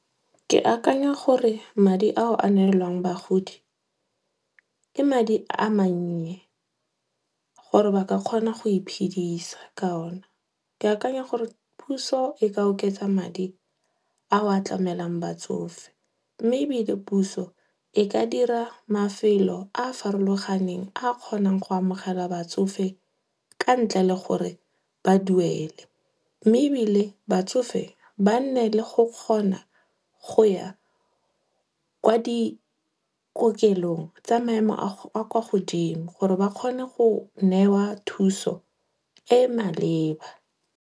Ke akanya gore madi ao a nelwang bagodi, ke madi a mannye gore ba ka kgona go iphedisa ka ona. Ke akanya gore puso e ka oketsa madi a atlamelang batsofe. Mme ebile puso, e ka dira mafelo a a farologaneng a kgonang go amogela batsofe ka ntle le gore ba duele. Mme ebile batsofe, ba nne le go kgona go ya kwa dikokelong tsa maemo a kwa godimo gore ba kgone go newa thuso e maleba.